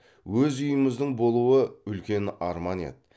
өз үйіміздің болуы үлкен арман еді